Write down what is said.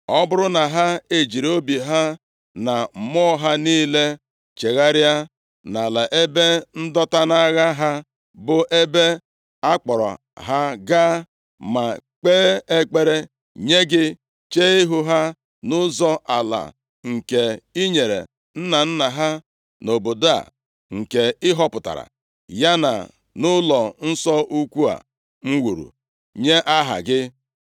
Ọ bụrụ na ha ejiri obi ha na mmụọ ha niile chegharịa, nʼala ebe ndọta nʼagha ha, bụ ebe a kpọrọ ha gaa, ma kpee ekpere nye gị chee ihu ha nʼụzọ ala a nke i nyere nna nna ha, nʼobodo a nke ị họpụtara, ya na nʼụlọnsọ ukwu a m wuru nye Aha gị